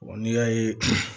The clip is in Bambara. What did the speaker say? n'i y'a ye